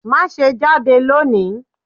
Má ṣé jade lọ ní!